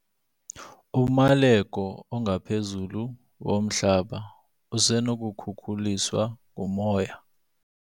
Umaleko ongaphezulu womhlaba usenokukhukuliswa ngumoya.